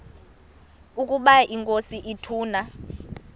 ukaba inkosi ituna